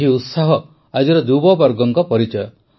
ଏହି ଉତ୍ସାହ ଆଜିର ଯୁବବର୍ଗଙ୍କ ପରିଚୟ